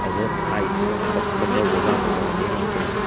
aga haai nyu ga katok ka man jau jan ne jo le ngan tega.